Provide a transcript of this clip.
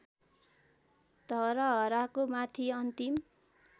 धरहराको माथि अन्तिम